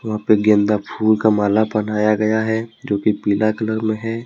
वहां पे गेंदा फुल का माल पहनाया गया है जो की पीला कलर में है।